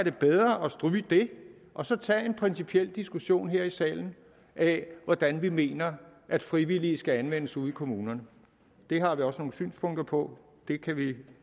er bedre at stryge det og så tage en principiel diskussion her i salen af hvordan vi mener at frivillige skal anvendes ude i kommunerne det har vi også nogle synspunkter på det kan vi